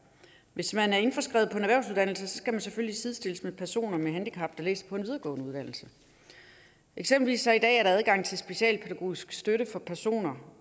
hvis man er indskrevet på en erhvervsuddannelse skal man selvfølgelig sidestilles med personer med handicap der læser på en videregående uddannelse eksempelvis er der i dag adgang til specialpædagogisk støtte for personer